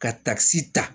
Ka takisi ta